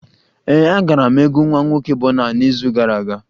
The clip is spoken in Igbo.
Ee, agara m egwu nwa nwoke Bọna n'izu gara aga